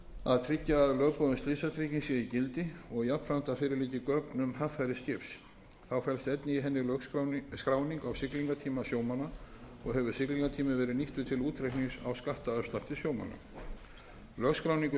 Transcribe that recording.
að tryggja að lögboðin slysatrygging sé í gildi og jafnframt að fyrir liggi gögn um haffæri skips þá felst einnig í henni skráning á siglingatíma sjómanna og hefur siglingatíminn verið nýttur til útreiknings á skattafslætti sjómanna lögskráningu